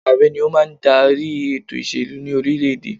Ààrẹ ni ó máa ń darí ètò ìṣèlú ní orílẹ̀ èdè.